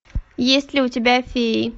есть ли у тебя феи